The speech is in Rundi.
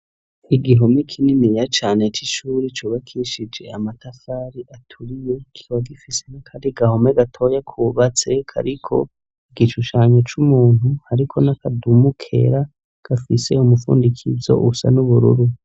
igihome kininiya cane c'ishuri cubakishije amatafari aturiye kiba gifise n'akari gahome gatoya kubatse kariko igishushanyo c'umuntu ariko n'akadumu kera gafise umufundikizo usa n'ubururu